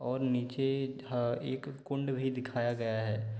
और नीचे धा एक कुण्ड भी दिखाया गया हैं।